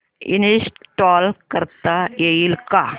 install करता येईल का